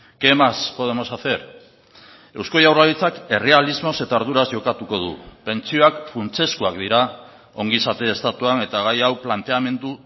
qué más podemos hacer eusko jaurlaritzak errealismoz eta arduraz jokatuko du pentsioak funtsezkoak dira ongizate estatuan eta gai hau planteamendu